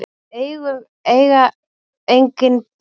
Við eiga engin börn.